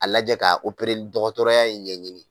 A lajɛ ka li dɔgɔtɔrɔya in ɲɛɲini